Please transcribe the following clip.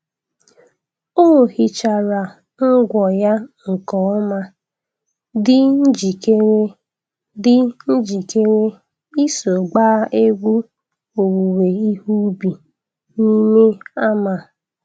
O hichara ngwọ ya nke ọma, dị njikere dị njikere iso gbaa egwu owuwe ihe ubi n’ime ama.